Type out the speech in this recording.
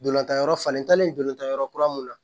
Dolantan yɔrɔ falenlen dolantan yɔrɔ kura mun na